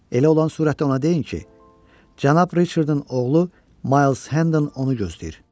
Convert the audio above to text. Elə olan surətdə ona deyin ki, Cənab Riçardın oğlu Miles Handon onu gözləyir.